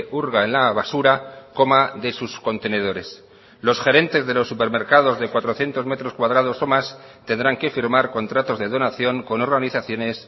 hurga en la basura coma de sus contenedores los gerentes de los supermercados de cuatrocientos metros cuadrados o más tendrán que firmar contratos de donación con organizaciones